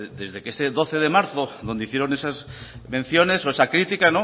de que desde ese doce de marzo donde hicieron esas menciones o esa crítica